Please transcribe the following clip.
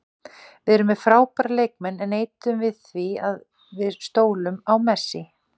Við erum með frábæra leikmenn en neitum við því að við stólum á Messi?